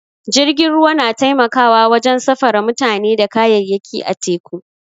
Jirgin ruwa na taimakawa wajen safara mutane da kayayyaki a teku.